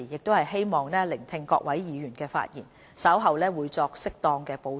我希望聆聽各位議員的發言，稍後會作適當的補充或回應。